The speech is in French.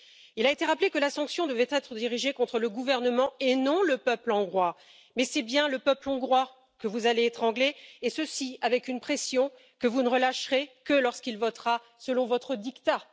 Il a été rappelé que la sanction devait être dirigée contre le gouvernement, et non le peuple hongrois, mais c'est bien le peuple hongrois que vous allez étrangler, et ceci avec une pression que vous ne relâcherez que lorsqu'il votera selon votre diktat.